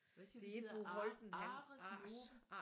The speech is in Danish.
Hvad siger du de hedder Ares Nove?